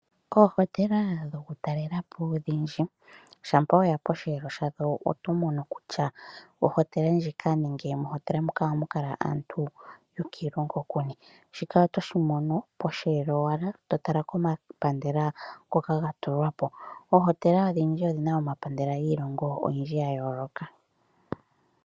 Oohotela dhokutalela po odhindji shampa weya posheelo shadho oto mono kutya mohotela moka ohamu kala aantu yokiilongo yinipo. Shika otoshi mono owala posheelo, totala komapandela ngoka ga tulwa po. Oohotela odhindji odhina omapandela giilongo oyindji ya yooloka.